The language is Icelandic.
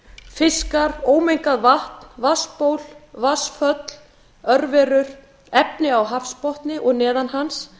fiskar ómengað vatn vatnsból vatnsföll örverur efni á hafsbotni og neðan hans